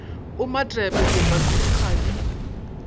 o matepe diepamere ga di